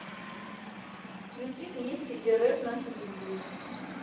включи вместе рф на телевизоре